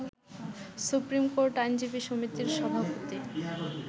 supreme court আইনজীবী সমিতির সভাপতি